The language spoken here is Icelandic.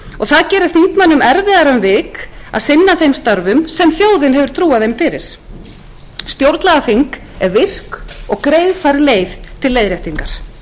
það gerir þingmönnum erfiðara um vik að sinna þeim störfum sem þjóðin hefur trúað þeim fyrir stjórnlagaþing er virk og greiðfær leið til leiðréttingar